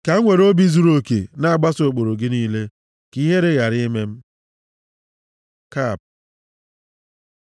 Ka m were obi zuruoke na-agbaso ụkpụrụ gị niile, ka ihere ghara ime m. כ Kap